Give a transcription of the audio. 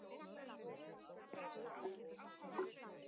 En má treysta því?